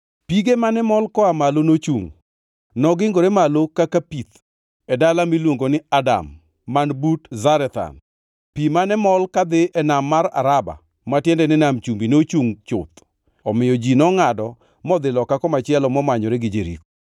pige mane mol koa malo nochungʼ. Nogingore malo kaka pith, e dala miluongo ni Adam man but Zarethan. Pi mane mol kadhi e nam mar Araba (ma tiende ni Nam Chumbi) nochungʼ chuth, omiyo ji nongʼado modhi loka komachielo, momanyore gi Jeriko.